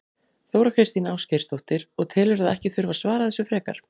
Þóra Kristín Ásgeirsdóttir: Og telurðu að ekki þurfi að svara þessu frekar?